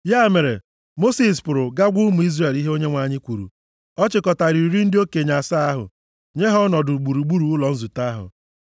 Ya mere, Mosis pụrụ ga gwa ụmụ Izrel ihe Onyenwe anyị kwuru. Ọ chịkọtara iri ndị okenye asaa ahụ nye ha ọnọdụ gburugburu ụlọ nzute ahụ.